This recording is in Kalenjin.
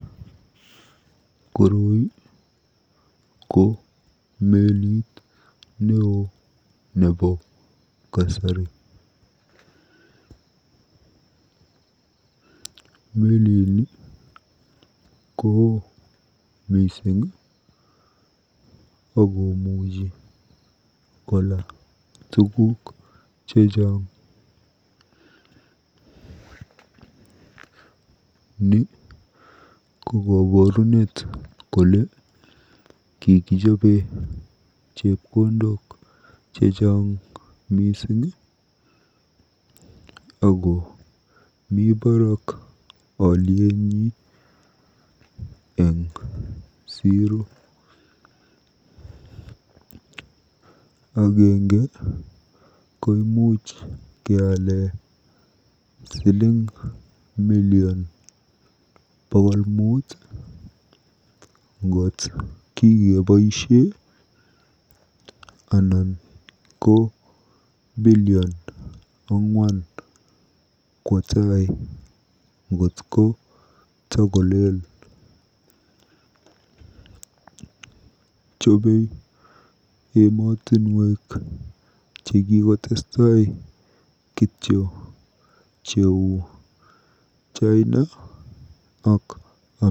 Koroi ko melit neoo nebo kasari. Melini koo mising akomuchi kola tuguk chechang. Ni ko koborunet kole kikijobe chepkondok chechang mising ako mi barak olyet eng siro. Agenge ko imuch keale million bokol ang'wan ngot kikeboisie ak billion ang'wan kwo tai kotakolel. Chobei emotinwek chekikotestai kityo cheu China ak Amerika.